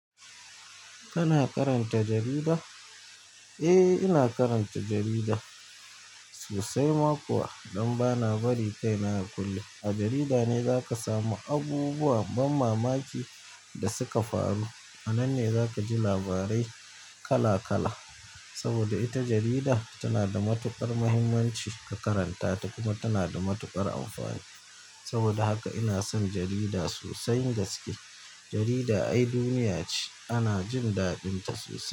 Kana karanta jarida? Eh, ina karanta jarida sosai. Ma kuwa, don ba na bari kai na ya kulle. A jarida ne za ka samu abubuwan ban mamaki da suka faru. Anan ne zakaji labarai kala kala saboda ita jarida tana da matuƙar muhimmanci ka karanta ta kuma tana da matuƙar amfani. Saboda haka ina son jarida sosai gaske. Jarida ai duniya ce. Ana jin daɗinta sosai.